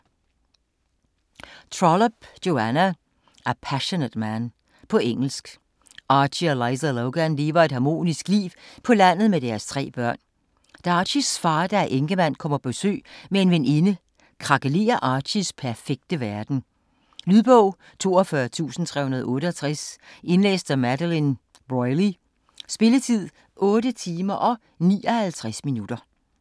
Trollope, Joanna: A passionate man På engelsk. Archie og Liza Logan lever et harmonisk liv på landet med deres tre børn. Da Archies far, der er enkemand, kommer på besøg med en veninde, krakelerer Archies perfekte verden. Lydbog 42368 Indlæst af Madeleine Brolly Spilletid: 8 timer, 59 minutter.